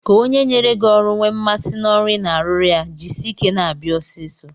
Ka onye nyere gị ọrụ nwee mmasị n'ọrụ ị na-arụrụ ya, jisie ike na-abịa ọsịsọ.